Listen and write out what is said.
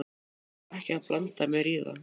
Ég á ekki að blanda mér í það.